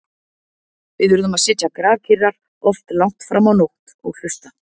Við urðum að sitja grafkyrrar, oft langt fram á nótt- og hlusta.